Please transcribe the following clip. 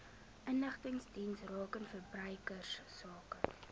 inligtingsdienste rakende verbruikersake